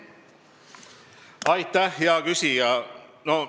Aitäh, hea küsija!